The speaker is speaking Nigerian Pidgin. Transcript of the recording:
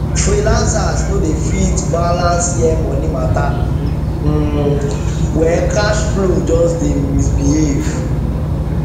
freelancers no de fit balance year money matter um well cash flow just dey misbehave